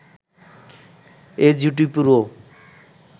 এ জুটি পুরো